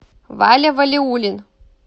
валя валиулин